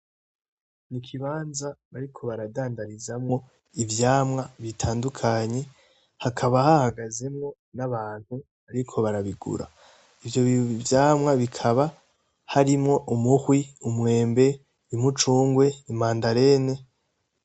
Ikibanza bariko baradandarizamwo ivyamwa bitandukanye, hakaba hahagazemwo n'abantu bariko barabigura. Ivyo vyamwa bikaba harimwo: umuhwi, umwembe, umucumgwe, imandarene.